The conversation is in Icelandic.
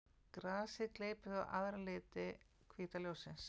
Grasið gleypir þá aðra liti hvíta ljóssins.